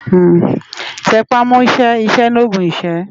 Tè pá mò ṣè iṣè ni ógùn iṣë